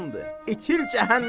İtil cəhənnəmə!